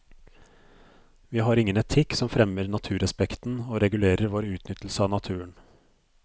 Vi har ingen etikk som fremmer naturrespekten og regulerer vår utnyttelse av naturen.